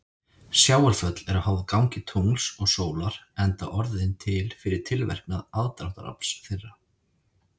Sjávarföll eru háð gangi tungls og sólar enda orðin til fyrir tilverknað aðdráttarafls þeirra.